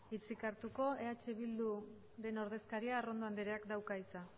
hitzik hartuko eh bilduren ordezkaria arrondo andreak dauka hitza